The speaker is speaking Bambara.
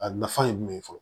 A nafa ye jumɛn ye fɔlɔ